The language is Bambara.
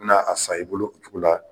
N bɛn' a san i bolo cogo la.